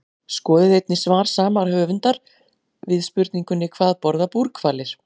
Skoðið einnig svar sama höfundur við spurningunni Hvað borða búrhvalir?